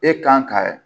E kan ka